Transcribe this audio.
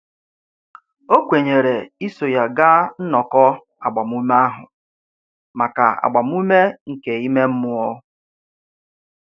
O kwenyere iso ya gaa nnọkọ agbamume ahụ maka agbamume nke ime mmụọ.